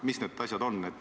Mis need asjad on?